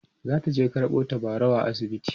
zataje karɓo tabarau a asibiti